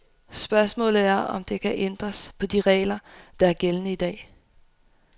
Spørgsmålet er, om der skal ændres på de regler, der er gældende i dag.